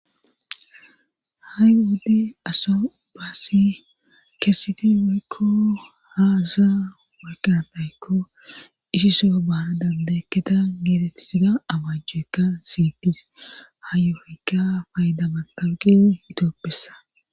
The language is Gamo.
ha7i wodde aso ubaassi keeseti waykko haaza wirkatayekko ishiso baana dandeekketa geeletisida amajjoekka siyitis hayofykka fayda maqabqin hitooppessa